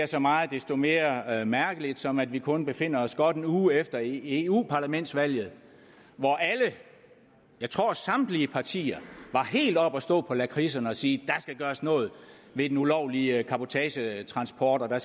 så meget desto mere mærkeligt som at vi kun befinder os godt en uge efter eu parlamentsvalget hvor alle jeg tror samtlige partier var helt oppe at stå på lakridserne og sige der skal gøres noget ved den ulovlige cabotagetransport og at der